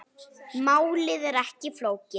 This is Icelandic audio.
Málið er ekki flókið.